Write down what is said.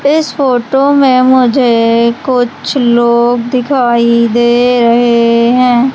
इस फोटो में मुझे कुछ लोग दिखाई दे रहे हैं।